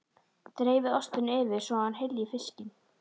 Dreifið ostinum yfir svo að hann hylji fiskinn.